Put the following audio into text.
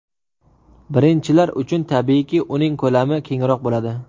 Birinchilar uchun, tabiiyki, uning ko‘lami kengroq bo‘ladi.